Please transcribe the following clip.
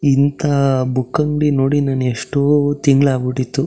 ಇಂಥ ಬುಕ್ ಅಂಗ್ಡಿ ನೋಡಿ ಎಷ್ಟೋ ತಿಂಗಳಾಗ್ಬಿಟ್ಟಿತ್ತು.